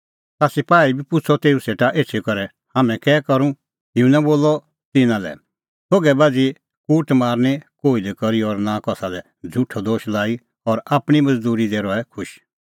ता सपाही बी पुछ़अ तेऊ सेटा एछी करै हाम्हैं कै करूं युहन्ना बोलअ तिन्नां लै थोघै बाझ़ी कूटमार निं कोही लै करी और नां कसा लै झ़ुठअ दोश लाई और आपणीं मज़दूरी दी रहै खुश